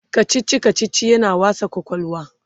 kachichi kachichi yana wasa kwakwalwa